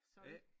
A